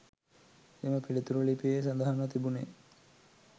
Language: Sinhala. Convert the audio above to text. එම පිළිතුර ලිපියේ සඳහන්ව තිබුණේ